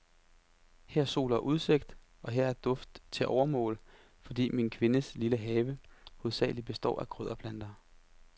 Her er sol og udsigt, og her er duft til overmål, fordi min kvindes lille have hovedsagelig består af krydderplanter.